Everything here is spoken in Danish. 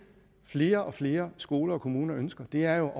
flere og flere skoler og kommuner ønsker er